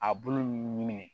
A bulu ɲinini